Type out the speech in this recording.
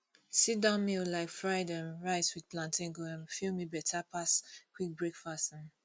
sitdown meal like fried um rice with plantain go um fill me better pass quick breakfast um